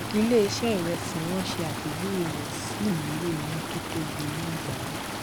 ilé ṣé ìrẹsì wón ṣe àpéjúwe rè sì nílò iná tó tóbi ní àgbáyé